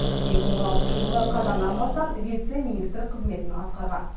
екі мың он алтыншы жылғы қазаннан бастап вице министр қызметін атқарған